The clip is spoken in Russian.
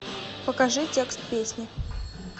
покажи текст песни